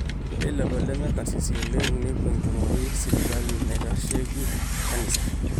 ore lelo lemekarsisi oleng nepuo enkumoi sipitalini naaitasheiki kanisa